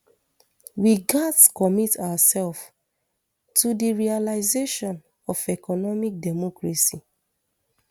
we gatz commit oursef to di realisation of economic democracy